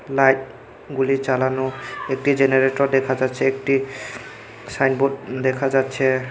Light -গুলি জ্বালানো একটি জেনারেটর দেখা যাচ্ছে একটি সাইনবোর্ড দেখা যাচ্ছে।